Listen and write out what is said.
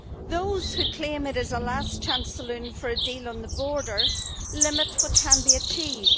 Those who claim it is a last chance saloon for a deal on the border limit what can be achieved.